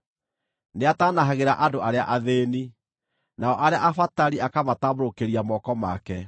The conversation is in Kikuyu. Nĩataanahagĩra andũ arĩa athĩĩni, nao arĩa abatari akamatambũrũkĩria moko make.